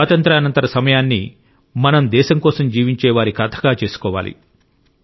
ఈ స్వాతంత్య్రానంతర సమయాన్ని మనం దేశం కోసం జీవించే వారి కథగా చేసుకోవాలి